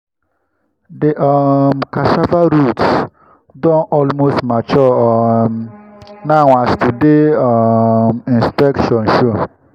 the um cassava roots don almost mature um now as today's um inspection show.